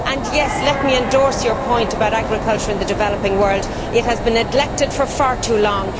And yes, let me endorse your point about agriculture in the developing world it has been neglected for far too long.